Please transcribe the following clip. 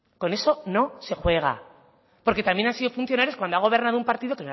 con eso no se juega porque también han sido funcionarios cuando ha gobernado un partido